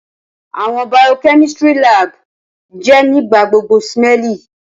Awọn biochemistry lab jẹ nigbagbogbo smelly.